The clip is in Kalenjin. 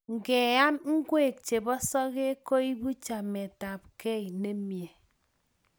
Keam ngwek chepo sokek koipu chametapkei nemie